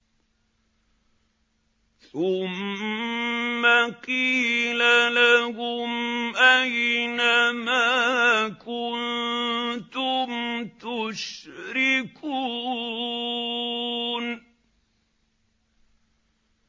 ثُمَّ قِيلَ لَهُمْ أَيْنَ مَا كُنتُمْ تُشْرِكُونَ